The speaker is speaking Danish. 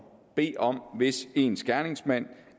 bede om hvis ens gerningsmand